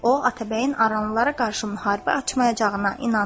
O Atabəyin aranlılara qarşı müharibə açmayacağına inandı.